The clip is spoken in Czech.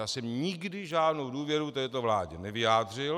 Já jsem nikdy žádnou důvěru této vládě nevyjádřil.